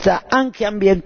e sociale.